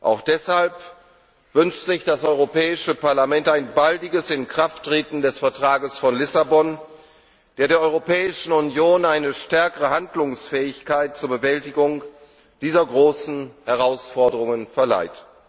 Auch deshalb wünscht sich das Europäische Parlament ein baldiges Inkrafttreten des Vertrags von Lissabon, der der Europäischen Union eine stärkere Handlungsfähigkeit zur Bewältigung dieser großen Herausforderungen verleiht.